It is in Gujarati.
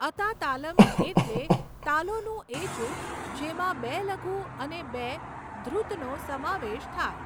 અતા તાલમ એટલે તાલોનું એ જૂથ જેમાં બે લઘુ અને બે ધૃતનો સમાવેશ થાય.